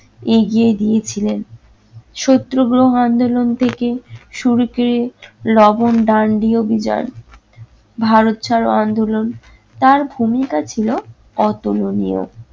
এগিয়ে দিয়েছিলেন। শত্রুগ্রহ আন্দোলন থেকে শুরুতে লবণ দান দিয়ে অভিযান, ভারত ছাড়ো আন্দোলন, তার ভূমিকা ছিলো অতুলনীয়।